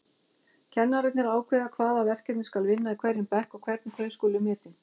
Kennararnir ákveða hvaða verkefni skal vinna í hverjum bekk og hvernig þau skuli metin.